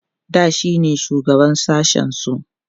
da shine shugaban sashen su